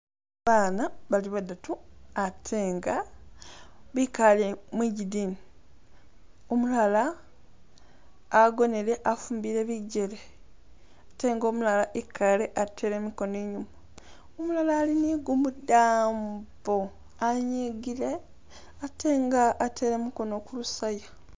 Baana bali badatu atenga bikale mwijidini, umulala agonele afumbile bijele, atenga umulala ikaale atele mikono inyuma, umulala ali ni gumudambo anyigile atenga atele mukono kulusaya.